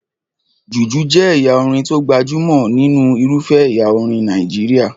Jùjú jẹ́ ẹ̀yà orin tó gbajúmọ̀ nínú irufẹ́ ẹ̀yà orin Nàìjíríyà